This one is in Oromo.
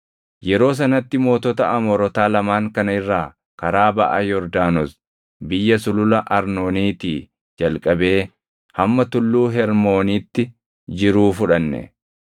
Yeroo sanatti mootota Amoorotaa lamaan kana irraa karaa baʼa Yordaanos biyya Sulula Arnooniitii jalqabee hamma Tulluu Hermoonitti jiruu fudhanne.